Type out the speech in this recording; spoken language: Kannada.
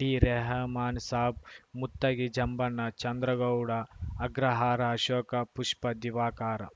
ಡಿರೆಹಮಾನ್ ಸಾಬ್‌ ಮುತ್ತಗಿ ಜಂಬಣ್ಣ ಚಂದ್ರಗೌಡ ಅಗ್ರಹಾರ ಆಶೋಕ ಪುಷ್ಪ ದಿವಾಕರ